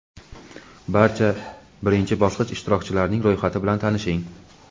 Barcha birinchi bosqich ishtirokchilarining ro‘yxati bilan tanishing.